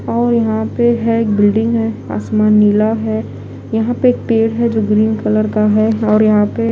और यहां पे है बिल्डिंग है आसमान नीला है यहां पे एक पेड़ है जो ग्रीन कलर का है और यहां पे--